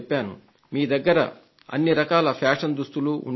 మీ దగ్గర అన్ని రకాల ఫ్యాషన్ దుస్తులు ఉండి ఉంటాయి